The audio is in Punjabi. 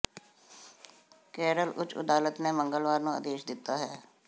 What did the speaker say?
ਕੇਰਲ ਉਚ ਅਦਾਲਤ ਨੇ ਮੰਗਲਵਾਰ ਨੂੰ ਆਦੇਸ਼ ਦਿਤਾ ਹੈ